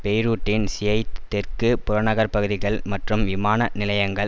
பெரூட்டின் Shiite தெற்கு புறநகர்ப்பகுதிகள் மற்றும் விமான நிலையங்கள்